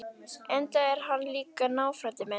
Enda er hann líka náfrændi minn!